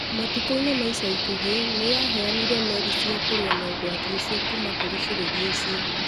matukũ-inĩ ma ica ikuhĩ, nĩ yaheanire meri cia kũrũa na ũgwati ũcio kuuma kũrĩ bũrũri ũcio.